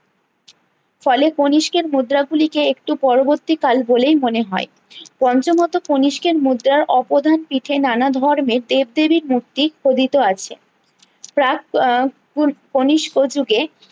ফলে কণিষ্কের মুদ্রা গুলিকে একটু পরবর্তী কাল বলে মনে হয় পঞ্চমত কণিষ্কের মুদ্রার অপদান পিঠে নান ধর্মের দেবদেবীর মূর্তি খোদিত আছে প্রাগ আহ কনিস্ক যুগে